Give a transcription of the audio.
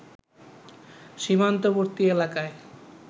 সীমান্তবর্তী এলাকায়